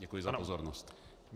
Děkuji za pozornost.